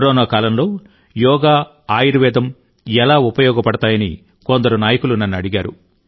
corona కాలంలో యోగా ఆయుర్వేదం ఎలా ఉపయోగపడతాయని కొందరు నాయకులు నన్ను అడిగారు